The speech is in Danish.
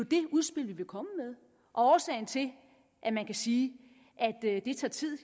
det udspil vi vil komme med og årsagen til at man kan sige at det tager tid